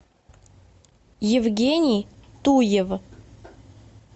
евгений туев